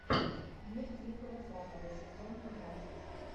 мир дикого запада сезон тринадцать